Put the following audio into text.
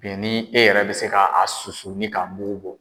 ni e yɛrɛ bɛ se ka a susu ni k'a mugu bɔ.